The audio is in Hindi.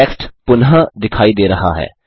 टेक्स्ट पुनः दिखाई दे रहा है